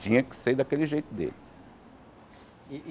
Tinha que ser daquele jeito dele.